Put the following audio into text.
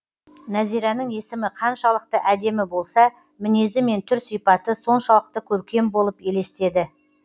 нәзираның есімі қаншалықты әдемі болса мінезі мен түр сипаты соншалықты көркем болып елестеді